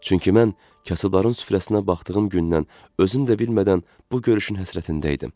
Çünki mən kasıbların süfrəsinə baxdığım gündən özüm də bilmədən bu görüşün həsrətində idim.